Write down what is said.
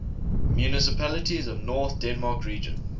municipalities of north denmark region